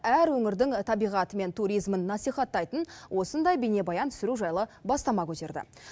әр өңірдің табиғаты мен туризмін насихаттайтын осындай бейнебаян түсіру жайлы бастама көтерді